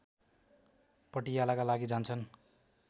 पटियालाका लागि जान्छन्